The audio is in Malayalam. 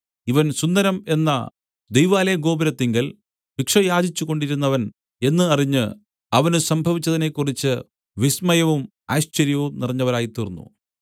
ഇവൻ സുന്ദരം എന്ന ദൈവാലയഗോപുരത്തിങ്കൽ ഭിക്ഷ യാചിച്ചുകൊണ്ട് ഇരുന്നവൻ എന്ന് അറിഞ്ഞ് അവന് സംഭവിച്ചതിനെക്കുറിച്ച് വിസ്മയവും ആശ്ചര്യവും നിറഞ്ഞവരായി തീർന്നു